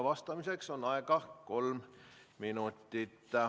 Vastamiseks on aega kolm minutit.